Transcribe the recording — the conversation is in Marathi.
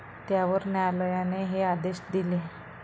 त्यावर न्यायालयाने हे आदेश दिले.